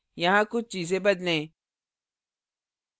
यहाँ कुछ चीजें बदलें